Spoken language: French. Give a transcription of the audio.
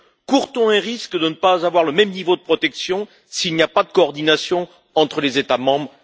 Court on un risque de ne pas avoir le même niveau de protection s'il n'y a pas de coordination entre les États membres?